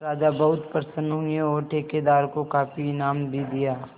राजा बहुत प्रसन्न हुए और ठेकेदार को काफी इनाम भी दिया